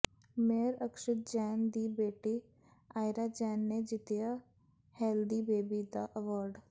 mayor Akshit Jain ਦੀ ਬੇਟੀ ਆਇਰਾ ਜੈਨ ਨੇ ਜਿੱਤਿਆ ਹੈਲਦੀ ਬੇਬੀ ਦਾ ਐਵਾਰਡ